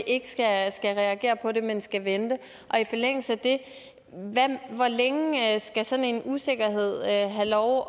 ikke skal reagere på det men skal vente og i forlængelse af det hvor længe skal sådan en usikkerhed have lov